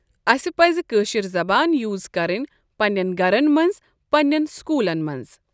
اَسہِ پز کٲشر زبان یوٗز کَرٕنۍ پنٛنٮ۪ن گرن منٛز پنٛنٮ۪ن سکوٗلن منٛز۔